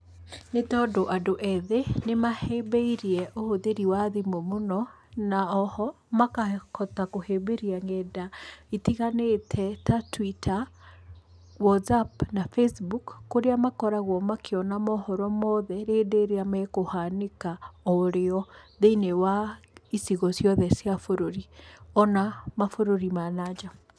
Nĩ tondũ andũ ethĩ nĩmahĩmbĩirie ũhũthĩri wa thimũ mũno, na oho makahota kũhĩmbĩria nenda itiganĩte ta Twitter, Whatsapp, na Facebook kũrĩa makoragwo makĩona mohoro mothe hĩndĩ ĩrĩa makũhanĩka o rĩo thĩinĩ wa icigo ciothe cia bũrũri ona mabũrũri ma na nja.